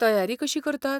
तयारी कशी करतात?